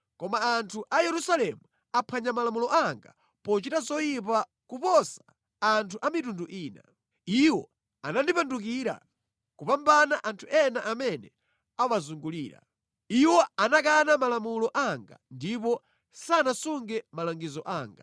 Koma anthu a Yerusalemu aphwanya malamulo anga pochita zoyipa kuposa anthu a mitundu ina. Iwo anandipandukira kupambana anthu ena amene awazungulira. Iwo anakana malamulo anga ndipo sanasunge malangizo anga.